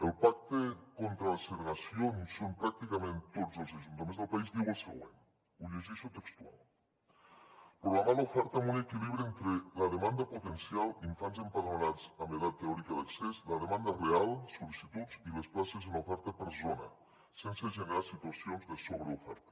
el pacte contra la segregació on hi són pràcticament tots els ajuntaments del país diu el següent ho llegeixo textual programar l’oferta amb un equilibri entre la demanda potencial d’infants empadronats en edat teòrica d’accés la demanda real sol·licituds i les places en oferta per zona sense generar situacions de sobreoferta